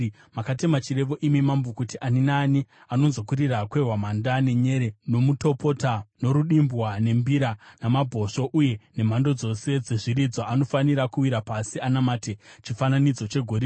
Makatema chirevo imi mambo, kuti ani naani anonzwa kurira kwehwamanda, nenyere, nomutopota, norudimbwa, nembira namabhosvo uye nemhando dzose dzezviridzwa, anofanira kuwira pasi anamate chifananidzo chegoridhe,